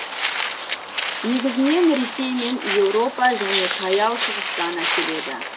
негізінен ресей мен еуропа және таяу шығыстан әкеледі